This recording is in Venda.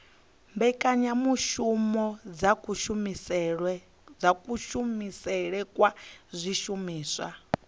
mbekanyamushumo dza kushumisele kwa zwishumiswa